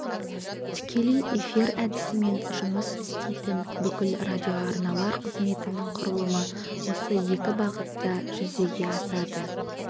тікелей эфир әдісімен жұмыс істейтін бүкіл радиоарналар қызметінің құрылымы осы екі бағытта жүзеге асады